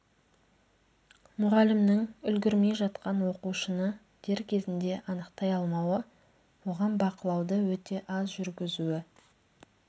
мұғалімнің үлгермей жатқан оқушыны дер кезінде анықтай алмауы оған бақылауды өте таяз жүргізуі